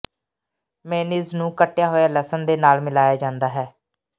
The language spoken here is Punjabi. ਮੇਅਨੀਜ਼ ਨੂੰ ਕੱਟਿਆ ਹੋਇਆ ਲਸਣ ਦੇ ਨਾਲ ਮਿਲਾਇਆ ਜਾਂਦਾ ਹੈ